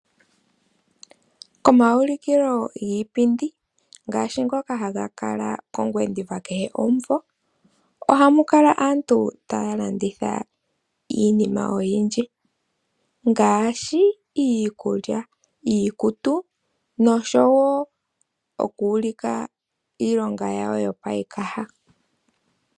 Omawulikilo giipindi ngaashi ngoka haga kala kongwediva kehe omumvo, ohamu kala aantu taya landitha iinima oyindji, ngaashi iikulya, iikutu, noshowo oku ulika iilonga yawo yopayikaha.